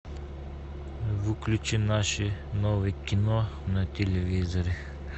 включи наше новое кино на телевизоре